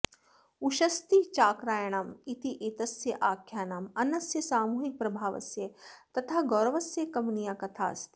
उषस्तिचाक्रायणम् इत्येतस्य आख्यानम् अन्नस्य सामूहिकप्रभावस्य तथा गौरवस्य कमनीया कथाऽस्ति